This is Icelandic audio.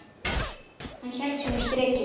Hann hélt sínu striki.